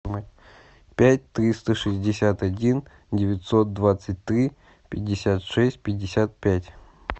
пять триста шестьдесят один девятьсот двадцать три пятьдесят шесть пятьдесят пять